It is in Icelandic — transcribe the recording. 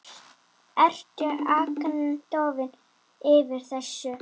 Ertu agndofa yfir þessu?